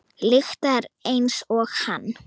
Lyktar einsog hann.